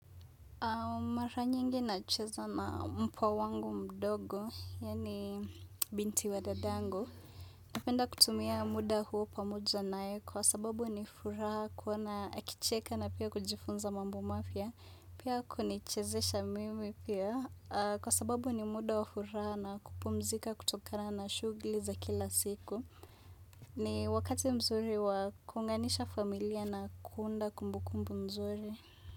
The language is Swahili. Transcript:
Mara nyingi nacheza na mpwa wangu mdogo, yaani binti wa dadangu. Napenda kutumia muda huo pamoja naye kwa sababu ni furaha kuona akicheka na pia kujifunza mambo mapya. Pia kunichezesha mimi pia kwa sababu ni muda wa furaha na kupumzika kutokana na shugli za kila siku. Ni wakati mzuri wa kuunganisha familia na kuunda kumbukumbu mzuri.